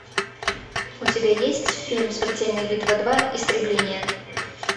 у тебя есть фильм смертельная битва два истребление